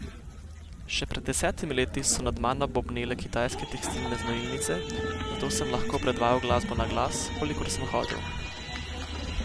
Še pred desetimi leti so nad mano bobnele kitajske tekstilne znojilnice, zato sem lahko predvajal glasbo naglas, kolikor sem hotel.